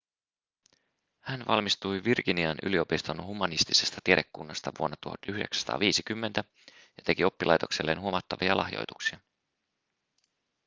hän valmistui virginian yliopiston humanistisesta tiedekunnasta vuonna 1950 ja teki oppilaitokselleen huomattavia lahjoituksia